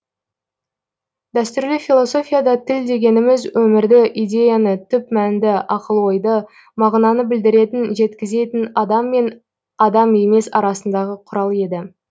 дәстүрлі философияда тіл дегеніміз өмірді идеяны түп мәнді ақыл ойды мағынаны білдіретін жеткізетін адам мен адам емес арасындағы құрал еді